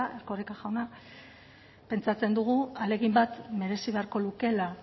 ezta erkoreka jauna pentsatzen dugu ahalegin bat merezi beharko lukeela